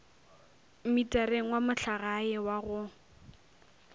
mmitareng wa mohlagae wa go